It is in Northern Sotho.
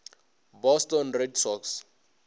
boston red sox